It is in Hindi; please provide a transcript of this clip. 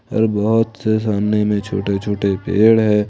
और बहुत से सामने में छोटे छोटे पेड़ है।